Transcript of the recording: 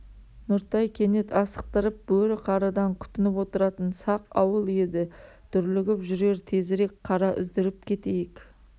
нұртай кенет асықтырып бөрі-қарыдан күтініп отыратын сақ ауыл еді дүрлігіп жүрер тезірек қара үздіріп кетейік